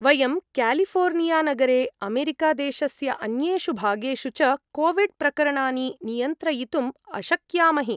वयं क्यालिफोर्नियानगरे, अमेरिकादेशस्य अन्येषु भागेषु च कोविड् प्रकरणानि नियन्त्रयितुम् अशक्यामहि।